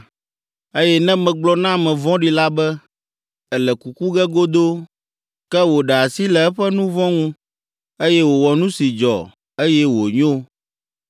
Eye ne megblɔ na ame vɔ̃ɖi la be, ‘Èle kuku ge godoo’ ke wòɖe asi le eƒe nu vɔ̃ ŋu, eye wòwɔ nu si dzɔ, eye wònyo,